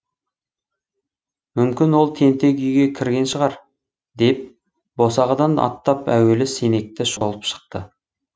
мүмкін ол тентек үйге кірген шығар деп босағадан аттап әуелі сенекті шолып шықты